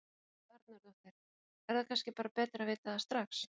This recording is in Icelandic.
Helga Arnardóttir: Er það kannski bara betra að vita það strax?